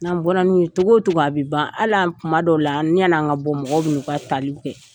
N'an bɔra n'o ye cogo cogo a bɛ ban hali kuma dɔw la yani an ka bɔ mɔgɔw bɛ na u ka taliw kɛ.